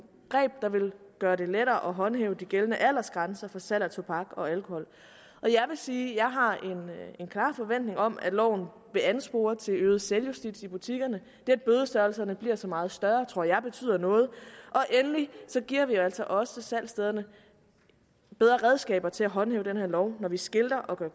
greb der vil gøre det lettere at håndhæve de gældende aldersgrænser for salg af tobak og alkohol og jeg vil sige at jeg har en klar forventning om at loven vil anspore til øget selvjustits i butikkerne det at bødestørrelserne bliver så meget større tror jeg betyder noget og endelig giver vi altså også salgsstederne bedre redskaber til at håndhæve den her lov når vi skilter og gør